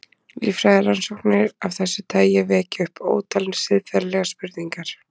Líffræðirannsóknir af þessu tagi vekja upp ótal siðferðilegar spurningar.